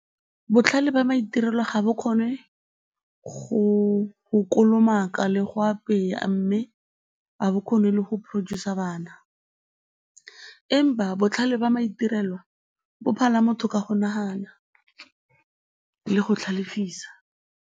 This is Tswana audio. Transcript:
Botlhale jwa maitirelo ga bo kgone go kolomaka le go apeya mme ga bo kgone le go producer bana empa botlhale jwa maitirelo bo phala motho ka go nagana le go tlhalefisa.